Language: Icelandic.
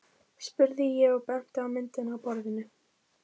spurði ég og benti á myndina á borðinu.